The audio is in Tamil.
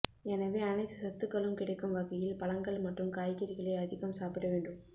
எனவே அனைத்து சத்துக்களும் கிடைக்கும் வகையில் பழங்கள் மற்றும் காய்கறிகளை அதிகம் சாப்பிட வேண்டும்